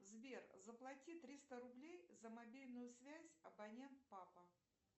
сбер заплати триста рублей за мобильную связь абонент папа